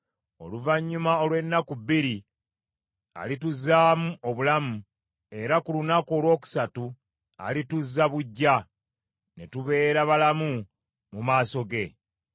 Oluvannyuma olw’ennaku bbiri alituzzaamu obulamu, era ku lunaku olwokusatu alituzza buggya, ne tubeera balamu mu maaso ge.